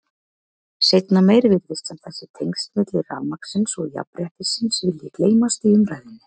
Seinna meir virðist sem þessi tengsl milli rafmagnsins og jafnréttisins vilji gleymast í umræðunni.